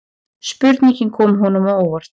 Spurningin kom honum á óvart.